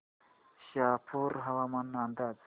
शहापूर हवामान अंदाज